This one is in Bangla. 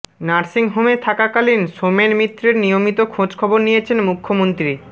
নার্সিং হোমে থাকাকালীন সোমেন মিত্রের নিয়মিত খোঁজখবর নিয়েছেন মুখ্যমন্ত্রী